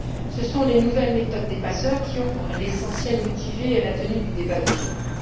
Ce sont les nouvelles méthodes des passeurs qui ont, pour l'essentiel, motivé la tenue du débat d'aujourd'hui.